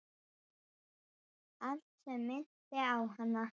Allt sem minnti á hana.